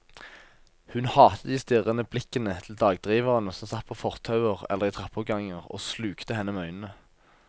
Hun hatet de strirrende blikkende til dagdriverne som satt på fortauer eller i trappeoppganger og slukte henne med øynene.